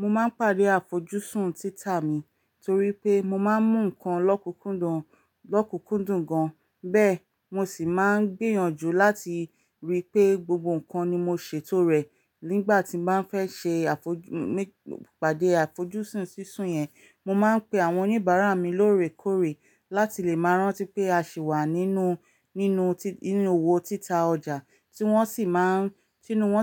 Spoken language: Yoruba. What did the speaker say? Mo máa ń pàdé àfojúsùn títà mi torí pé mo máa ń mu nǹkan lokunkundun lọ́kùnkúndùn gan, bẹ́ẹ̀ mo sì máa ń gbìyànjú láti ríi pé gbogbo nǹkan ni mo ṣètò rẹ̀. Nígbà tí mo bá fẹ́ ṣe pàdé àfojúsùn sísun yẹn, mo máa ń pe àwọn oníbàárà mi lóòrèkóòrè láti lè máa rántí pé a sì wà nínú ninu inu owó títà ọjà, tí wọ́n